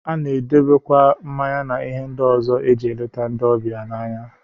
A na-edebekwa mmanya na ihe ndị ọzọ e ji eleta ndị ọbịa na ya.